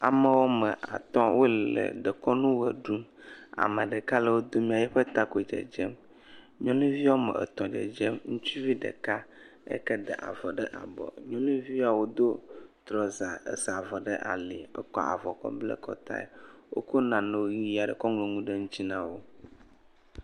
ame ɔme atɔ wóle dekɔnu ɣe ɖum meɖeka le wó domea eƒe ta koe dzedzem nyɔnuvi wɔme etɔ̃ dzedzem ŋutsuvi ɖeka eyike da avɔ ɖe abɔ nyɔnuviyawo dó trɔza esa avɔ ɖe ali wókɔ avɔ kɔ bla akɔtae wokó nanewo nuyiaɖewo kɔ ŋlɔŋu ɖe ŋtsi nawo